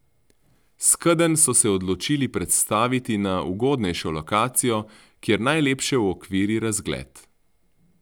Skedenj so se odločili prestaviti na ugodnejšo lokacijo, kjer najlepše uokviri razgled.